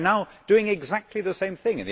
We are now doing exactly the same thing